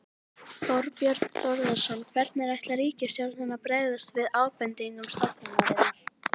Þorbjörn Þórðarson: Hvernig ætlar ríkisstjórnin að bregðast við ábendingum stofnunarinnar?